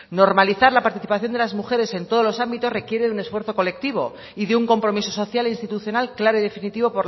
normalizar la participación de las mujeres en todos los ámbitos requiere de un esfuerzo colectivo y de un compromiso social e institucional claro y definitivo